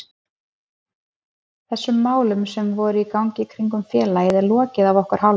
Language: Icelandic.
Þessum málum sem voru í gangi í kringum félagið er lokið að okkar hálfu.